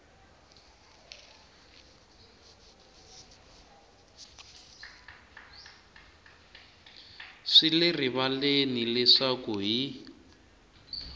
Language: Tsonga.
swi le rivaleni leswaku hi